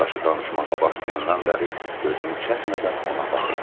Yoldaşı danışmağa başlayandan bəri gözünü çəkmədən ona baxırdı.